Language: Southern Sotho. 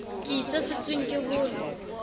ke itse setsweng ke hole